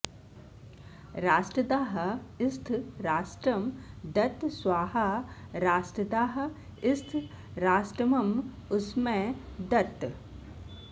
रा॒ष्ट्र॒दाः स्थ॑ रा॒ष्ट्रं द॑त्त॒ स्वाहा॑ राष्ट्र॒दाः स्थ॑ रा॒ष्ट्रम॒मुष्मै॑ दत्त